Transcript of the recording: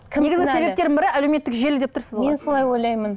бірі әлеуметтік желі деп тұрсыз ғой мен солай ойлаймын